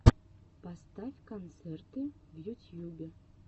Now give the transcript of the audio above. поставь концерты в ютьюбе